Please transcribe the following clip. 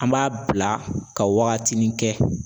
An b'a bila ka waagatinin kɛ